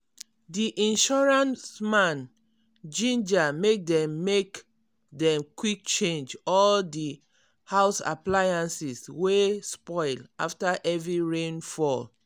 di insurance man ginger make dem make dem quick change all di house appliances wey spoil after heavy rain fall.